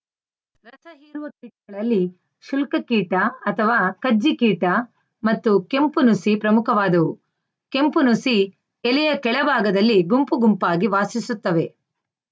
ರಸ ಹೀರುವ ಕೀಟಗಳಲ್ಲಿ ಶುಲ್ಕ ಕೀಟ ಅಥವಾ ಕಜ್ಜಿ ಕೀಟ ಮತ್ತು ಕೆಂಪು ನುಸಿ ಪ್ರಮುಖವಾದವು ಕೆಂಪು ನುಸಿ ಎಲೆಯ ಕೆಳ ಭಾಗದಲ್ಲಿ ಗುಂಪು ಗುಂಪಾಗಿ ವಾಸಿಸುತ್ತವೆ